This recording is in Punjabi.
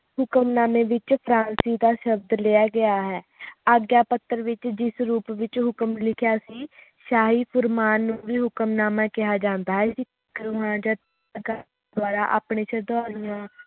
ਹੁਕਮਨਾਮੇ ਵਿਚ ਫਰਾਂਸੀ ਦਾ ਸ਼ਬਦ ਲਿਆ ਗਿਆ ਹੈ ਅਗ੍ਯਾਪੱਤਰ ਵਿਚ ਜਿਸ ਰੂਪ ਵਿਚ ਹੁਕਮ ਲਿਖਿਆ ਸੀ ਸ਼ਾਹੀ ਫੁਰਮਾਨ ਨੂੰ ਵੀ ਹੁਕਮਨਾਮਾ ਕਿਹਾ ਜਾਂਦਾ ਹੈ ਦੁਆਰਾ ਆਪਣੇ ਸ਼ਰਧਾਲੂਆਂ